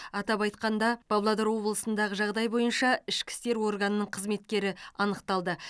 атап айтқанда павлодар облысындағы жағдай бойынша ішкі істер органының қызметкері анықталды